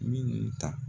Minnu ta